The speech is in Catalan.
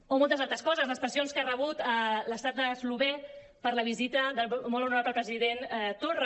o moltes altres coses les pressions que ha rebut l’estat eslovè per la visita del molt honorable president torra